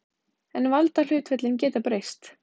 En valdahlutföllin geta breyst.